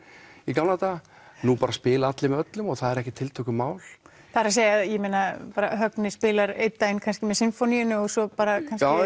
í gamla daga nú bara spila allir með öllum og það er ekkert tiltökumál það er að segja bara Högni spilar einn daginn með Sinfóníunni og svo kannski